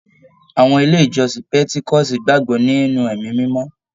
Àwọn ilé ìjọsìn petikoosi gbagbọ nínú ẹmí mímọ.